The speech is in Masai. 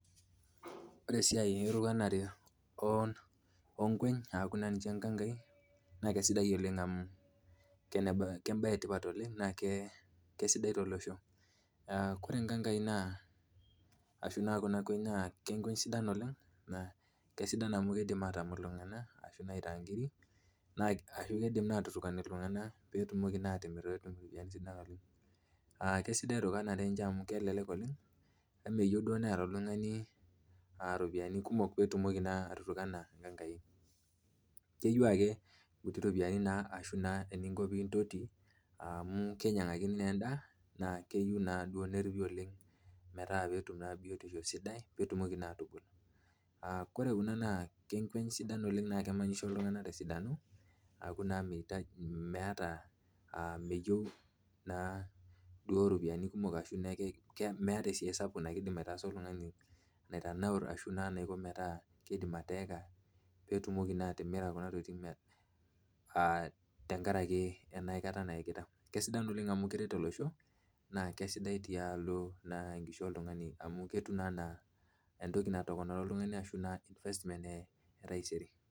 Ore esiai erowanare oonkeny aaku naa ninche nkankai naa keisidai oleng emu embae etipat naa keisidai tolosho naa ore nkankai enaa Kuna kweny naa keisidan oleng, amu keidim iltunganak aitaa nkiri ashu ketumoki iltunganak atimira pee etum iropiyiani sidan oleng. esidai siininye erowanare enche amu kelelek oleng emeyieu niyata oltunagani ropiyiani kumok pee itumoki etutukana inkankai. keyeiu ake nkuti ropiyiani ashu eninko naa pee intoti amu keinyangakini naa enda neyeiuni na neripi oleng pee etum naa biotisho sidai pee itumoki naa atubul. ore Kuna naa kweny sidan naa kemenyisho iltungak tesidano aaku naa meeta esiai sapuk naidim aitaasa oltungani mata keitanaur ashua keidim ateeka pee itumoki naa atimira kuna tokiting tenkaraki enkata naekita, keisidan oleng amu keret olosho naa siadi naa tialo amu keret oltungani ketuu naa ana investment etaisere.